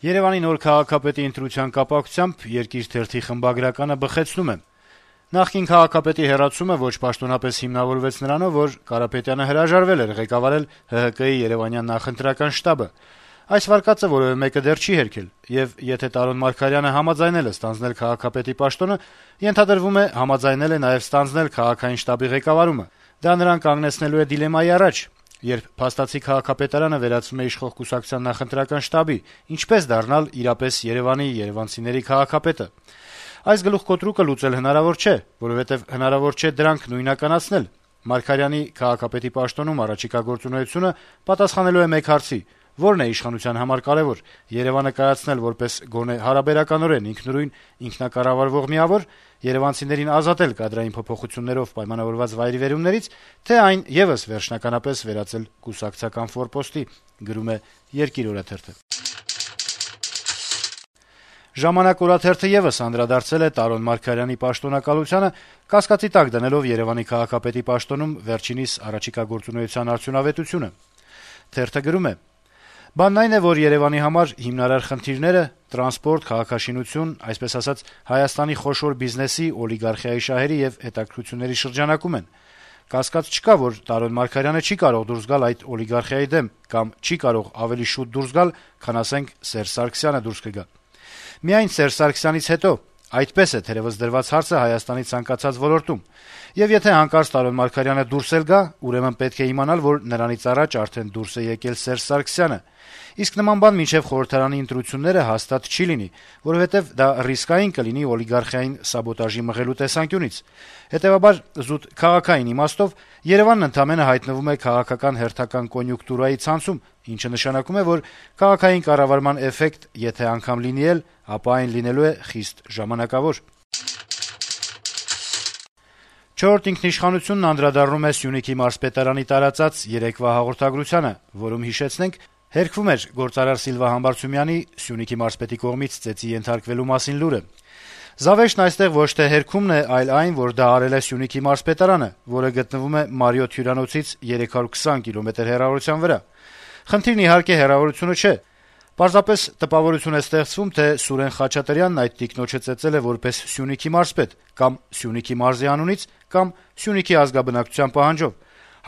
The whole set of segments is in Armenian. Երեւանի նոր քաղաքապետի ընտրության կապակցությամբ «Երկիր» թերթի խմբագրականը բխեցնում է. - «Նախկին քաղաքապետի հեռացումը ոչ պաշտոնապես հիմնավորվեց նրանով, որ Կարապետյանը հրաժարվել էր ղեկավարել ՀՀԿ-ի` երեւանյան նախընտրական շտաբը: Այս վարկածը որեւէ մեկը դեռ չի հերքել: Եվ եթե Տարոն Մարգարյանը համաձայնել է ստանձնել քաղաքապետի պաշտոնը, ենթադրվում է` համաձայնել է նաեւ ստանձնել քաղաքային շտաբի ղեկավարումը: Դա նրան կանգնեցնելու է դիլեմայի առաջ. երբ փաստացի քաղաքապետարանը վերածվում է իշխող կուսակցության նախընտրական շտաբի, ինչպե՞ս դառնալ իրապես Երեւանի, երեւանցիների քաղաքապետը: Այս գլուխկոտրուկը լուծել հնարավոր չէ, որովհետեւ հնարավոր չէ դրանք նույնականացնել: Մարգարյանի` քաղաքապետի պաշտոնում առաջիկա գործունեությունը պատասխանելու է մեկ հարցի. ո՞րն է իշխանության համար կարեւոր` Երեւանը կայացնել որպես գոնե հարաբերականորեն ինքնուրույն, ինքնակառավարվող միավո՞ր, երեւանցիներին ազատել կադրային փոփոխություններով պայմանավորված վայրիվերումների՞ց, թե՞ այն եւս վերջնականապես վերածվելու է կուսակցական ֆորպոստի»: «Ժամանակ» օրաթերթը եւս անդրադարձել է Տարոն Մարգարյանի պաշտոնակալությանը` կասկածի տակ դնելով Երեւանի քաղաքապետի պաշտոնում նրա առաջիկա գործունեության արդյունավետությունը. - «Բանն այն է, որ Երեւանի համար հիմնարար խնդիրները՝ տրանսպորտային ոլորտ, քաղաքաշինության ոլորտ, այսպես ասած՝ Հայաստանի խոշոր բիզնեսի, օլիգարխիայի շահերի եւ հետաքրքրությունների շրջանակում են: Կասկած չկա, որ Տարոն Մարգարյանը չի կարող դուրս գալ այդ օլիգարխիայի դեմ կամ չի կարող ավելի շուտ դուրս գալ, քան, ասենք, Սերժ Սարգսյանը դուրս կգա: «Միայն Սերժ Սարգսյանից հետո». այդպես է թերեւս դրված հարցը Հայաստանի ցանկացած ոլորտում, եւ եթե հանկարծ Տարոն Մարգարյանը դուրս էլ գա, ուրեմն պետք է իմանալ, որ նրանից առաջ արդեն դուրս է եկել Սերժ Սարգսյանը: Իսկ նման բան մինչեւ խորհրդարանի ընտրությունները հաստատ չի լինի, որովհետեւ դա ռիսկային կլինի օլիգարխիային սաբոտաժի մղելու տեսանկյունից: Հետեւաբար, զուտ քաղաքային իմաստով, Երեւանն ընդամենը հայտնվում է քաղաքական հերթական կոնյունկտուրայի ցանցում, ինչը նշանակում է, որ քաղաքային կառավարման էֆեկտ եթե անգամ լինի էլ, ապա այն լինելու է խիստ ժամանակավոր»: «Չորրորդ ինքնիշխանություն»-ն անդրադառնում է Սյունիքի մարզպետարանի տարածած երեկվա հաղորդագրությանը, որում, հիշեցնենք, հերքվում էր գործարար Սիլվա Համբարձումյանի` Սյունիքի մարզպետի կողմից ծեծի ենթարկվելու մասին լուրը. - «Զավեշտն այստեղ ոչ թե հերքումն է, այլ այն, որ դա արել է Սյունիքի մարզպետարանը, որը գտնվում է «Մարիոթ» հյուրանոցից 320 կիլոմետր հեռավորության վրա: Խնդիրը, իհարկե, հեռավորությունը չէ: Պարզապես տպավորություն է ստեղծվում, թե Սուրեն Խաչատրյանն այդ տիկնոջը ծեծել է որպես Սյունիքի մարզպետ կա'մ Սյունիքի մարզի անունից, կա'մ Սյունիքի ազգաբնակչության պահանջով: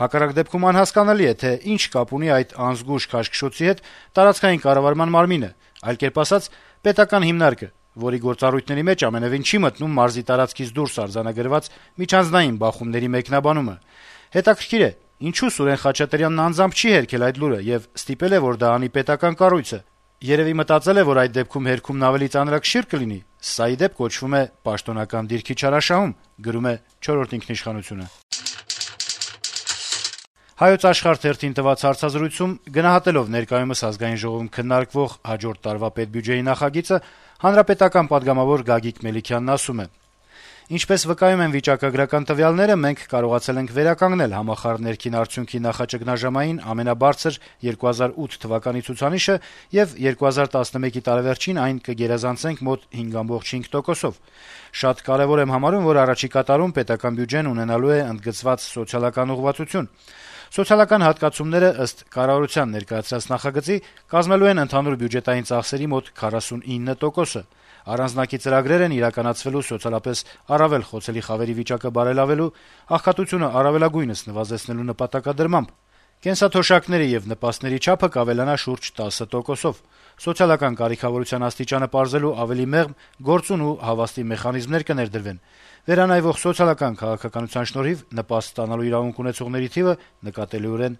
Հակառակ դեպքում անհասկանալի է, թե ինչ կապ ունի այդ անզգույշ քաշքշոցի հետ տարածքային կառավարման մարմինը, այլ կերպ ասած` պետական հիմնարկը, որի գործառույթների մեջ ամենեւին չի մտնում մարզի տարածքից դուրս արձանագրված միջանձնային բախումների մեկնաբանումը: Հետաքրքիր է, ինչո՞ւ Սուրեն Խաչատրյանն անձամբ չի հերքել այդ լուրը եւ ստիպել է, որ դա անի պետական կառույցը: Երեւի մտածել է, որ այդ դեպքում հերքում ավելի ծանրակշի՞ռ կլինի: Սա, ի դեպ, կոչվում է պաշտոնեական դիրքի չարաշահում»: «Հայոց Աշխարհ» թերթին տված հարցազրույցում գնահատելով ներկայումս Ազգային ժողովում քննարկվող հաջորդ տարվա պետբյուջեի նախագիծը` պատգամավոր Գագիկ Մելիքնյանը (ՀՀԿ) ասում է. - «Ինչպես վկայում են վիճակագրական տվյալները, մենք կարողացել ենք վերականգնել համախառն ներքին արդյունքի նախաճգնաժամային ամենաբարձր՝ 2008 թվականի ցուցանիշը եւ 2011-ի տարեվերջին այն կգերազանցենք մոտ 5,5%-ով: Շատ կարեւոր եմ համարում, որ առաջիկա տարում պետական բյուջեն ունենալու է ընդգծված սոցիալական ուղղվածություն: Սոցիալական հատկացումները, ըստ կառավարության ներկայացրած նախագծի, կազմելու են ընդհանուր բյուջետային ծախսերի մոտ 49%-ը: Առանձնակի ծրագրեր են իրականացվելու սոցիալապես առավել խոցելի խավերի վիճակը բարելավելու, աղքատությունը առավելագույնս նվազեցնելու նպատակադրմամբ: Կենսաթոշակների եւ նպաստների չափը կավելանա շուրջ 10%-ով: Սոցիալական կարիքավորության աստիճանը պարզելու ավելի մեղմ, գործուն ու հավաստի մեխանիզմներ կներդրվեն: Վերանայվող սոցիալական քաղաքականության շնորհիվ նպաստ ստանալու իրավունք ունեցողների թիվը նկատելիորեն